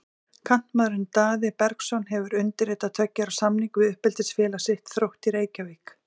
Kantmaðurinn Daði Bergsson hefur undirritað tveggja ára samning við uppeldisfélag sitt, Þrótt í Reykjavík.